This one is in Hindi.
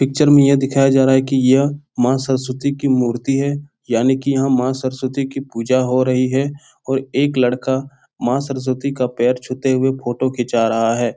पिक्चर में यह दिखाया जा रहा है कि यह माँ सरस्वती की मूर्ति है यानि कि यहाँ माँ सरस्वती की पूजा हो रही है और एक लड़का माँ सरस्वती का पैर छूते हुए फोटो खींचा रहा है।